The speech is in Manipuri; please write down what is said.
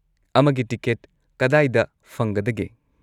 ꯑꯃꯒꯤ ꯇꯤꯀꯦꯠ ꯀꯗꯥꯏꯗ ꯐꯪꯒꯗꯒꯦ?